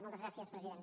moltes gràcies president